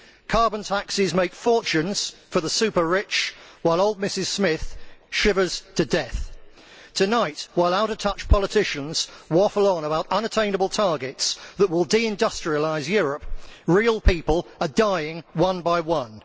Carbon taxes make fortunes for the super rich while old Mrs Smith shivers to death. Tonight, while out of touch politicians waffle on about unattainable targets that will de industrialise Europe, real people are dying one by one.